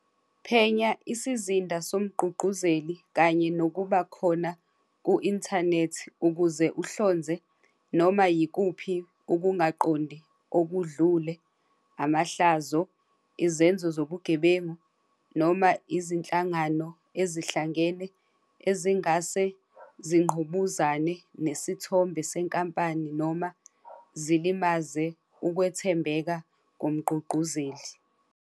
Phenya isizinda somgqugquzeli kanye nokuba khona ku-inthanethi ukuze ehlonze noma yikuphi ukungaqondi okudlule, amahlazo, izenzo zobugebengu, noma izinhlangano ezihlangene ezingase zingqubuzane nesithombe senkampani, noma zilimaze ukwethembeka komgqugquzeli.